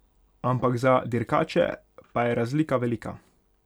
Ampak za dirkače pa je razlika velika.